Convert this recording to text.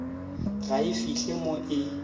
ga e fihle mo e